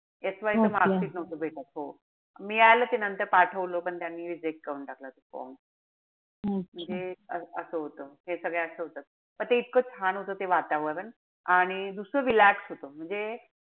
SY च mark sheet नव्हतं भेटत. हो. मिळालं ते नंतर पाठवलं पण त्यांनी reject करून टाकला form कि जे असं होत. हे सगळ्या अशा होतात. पण ते इतकं छान होत ते वातावरण. आणि दुसरं relax होत. म्हणजे,